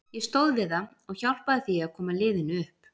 Ég stóð við það og hjálpaði því að koma liðinu upp.